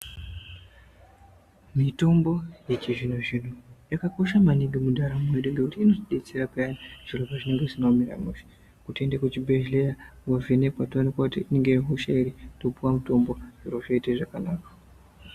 Mitombo yechizvino zvino yakakosha maningi mundaramo yedu ngekuti inotidetsera payani zviro pazvinenge zvisina kumira mushe kutoende kuchibhedhleya wovhenekwa toonekwa kuti ingaa hosha iri topuwa mutombo zviro zvoita zvakanaka.